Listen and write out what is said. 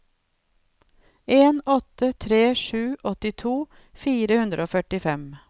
en åtte tre sju åttito fire hundre og førtifem